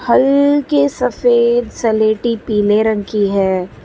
हल्के सफेद स्लेटी पीले रंग की है।